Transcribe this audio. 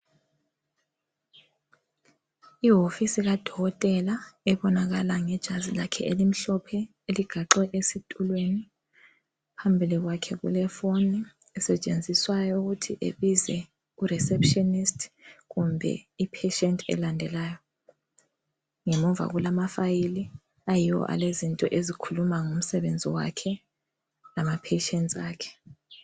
Ihofisi kadokotela ebonakala ngejazi lakhe elimhlophe eligaxwe esitulweni. Phambili kwakhe kulephone esetshenziswayo ukuthi ebize ureceptionist kumbe ipatient elandelayo. Ngemuva kulamafile ayiwo alezinto ezikhuluma ngomsebenzi wakhe lamapatients akhe.